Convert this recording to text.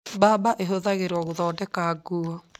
Mbamba ĩhũthagirwo gũthondeka nguo.